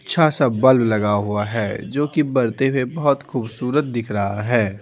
अच्छा सा बल्ब लगा हुआ है जो कि बढ़ते हुए बहुत खूबसूरत दिख रहा है।